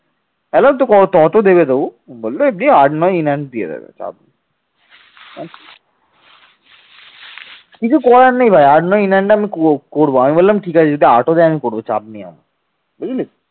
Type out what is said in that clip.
কিছু করার নাই ভাই আট নয় in hand আমি করব। আমি বললাম ঠিক আছে আমি করব চাপ নিও না বুঝলি